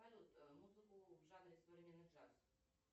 салют музыку в жанре современный джаз